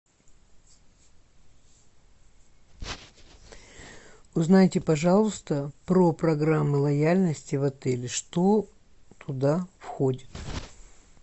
узнайте пожалуйста про программы лояльности в отеле что туда входит